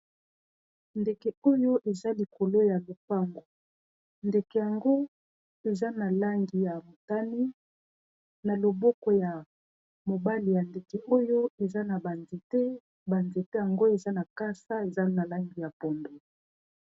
ndeke oyo eza likolo ya lopango ndeke yango eza na langi ya motane na loboko ya mobali ya ndeke oyo eza na banzete banzete yango eza na makasa eza na langi ya pondu.